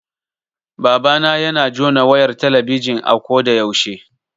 Babana yana jona wayar talabijin a ko da yaushe